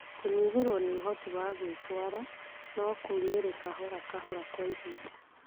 Kũnyihĩrwo nĩ ũhoti wa gwĩtwara, no kumĩrĩ kahora kahora kwa ihinda.